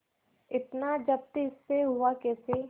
इतना जब्त इससे हुआ कैसे